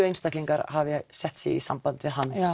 einstaklingar hafi sett sig í samband við hann